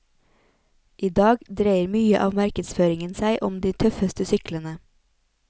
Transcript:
I dag dreier mye av markedsføringen seg om de tøffeste syklene.